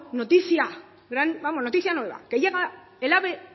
noticia vamos noticia nueva que llega el ave